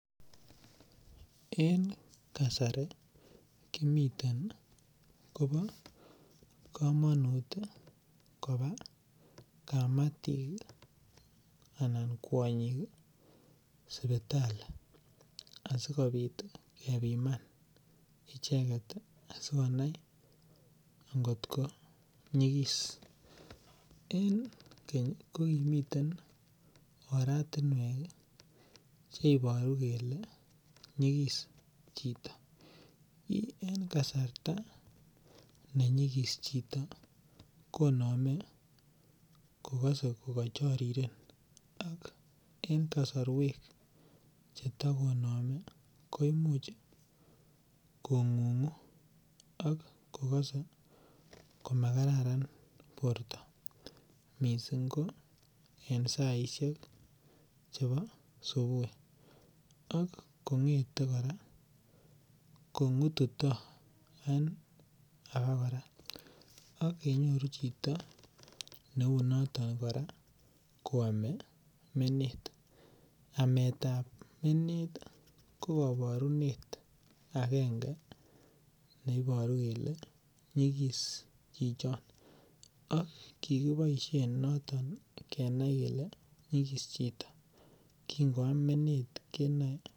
En kasari kimiten koba kamanut koba kamatik anan kwonyik sipitali asikopit kepiman icheget ssikonai angotko nyigis. En keny ko kimiten oratinwek che ibaru kele nyigis chito. En kasarta ne nyigis chito koname kokase ko kachariren ak en kasarwek chekatakoname koimuch kongungu ak kogase komakararan borto. Mising ko en saisiek chebo subui ak kongete kora kongututo en age kora. Ak kenyoru chito neu noto kora koame menet. Ametab menet ko kabarunet agenge neibaru kele nyigis chichon ak kikiboisien notok kenai kele nyigis chito . Kingoam menet kenoe.